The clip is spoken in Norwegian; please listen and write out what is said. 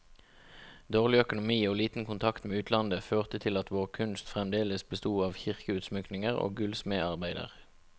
Dårlig økonomi og liten kontakt med utlandet, førte til at vår kunst fremdeles besto av kirkeutsmykninger og gullsmedarbeider.